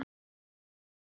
Jónanna, spilaðu lag.